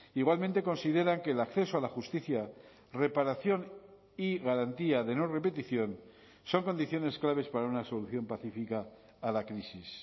igualmente consideran que el acceso a la justicia reparación y garantía de no repetición son condiciones claves para una solución pacífica a la crisis